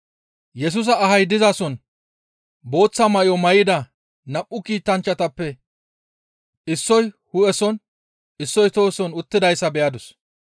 Yesusa ahay dizason booththa may7o may7ida nam7u kiitanchchatappe issoy hu7eson issoy tohoson uttidayta beyadus.